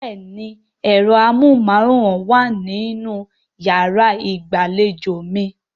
Bẹ́ẹ̀ni ẹ̀rọ amóhùnmáwòrán wà nínú yàrá ìgbàlejò mi